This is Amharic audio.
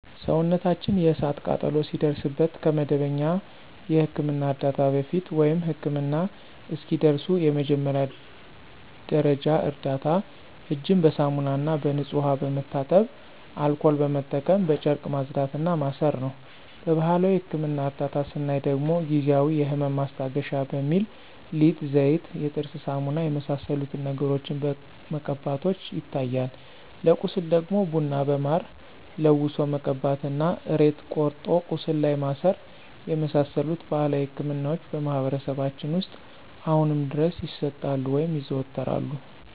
ሰውነታችን የእሳት ቃጠሎ ሲደርስበት ከመደበኛ የሕክምና ዕርዳታ በፊት፣ ወይም ህክምና እስኪደርሱ የመጀመሪያ ደረጃ እርዳታ እጅን በሳሙናና በንጹህ ውሃ በመታጠብ አልኮል በመጠቀም በጨርቅ ማጽዳት እና ማሰር ነው። በባህላዊ የህክምና እርዳታ ስናይ ደግሞ ጊዜአዊ የህመም ማስታገሻ በሚል ሊጥ፣ ዘይት፣ የጥርስ ሳሙና የመሳሰሉትን ነገሮችን መቀባቶች ይታያሉ። ለቁስል ደግሞ ቡና በማር ለውሶ መቀባት እና ሬት ቆርጦ ቁስሉ ላይ ማሰር የመሳሰሉት ባህላዊ ህክምናዎች በማህበረሰባችን ውስጥ አሁንም ድረስ ይሰጣሉ (ይዘወተራሉ)።